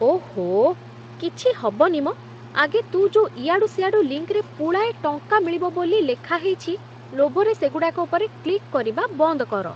ଓହୋଃ, କିଛି ହବନି ମ, ଆଗେ ତୁ ଯୋଉ ଇଆଡ଼ୁ ସିଆଡ଼ୁ ଲିଙ୍କ୍‌ରେ ପୁଳାଏ ଟଙ୍କା ମିଳିବ ବୋଲି ଲେଖା ହେଇଛି, ଲୋଭରେ ସେଗୁଡ଼ାକ ଉପରେ କ୍ଲିକ୍ କରିବା ବନ୍ଦ କର!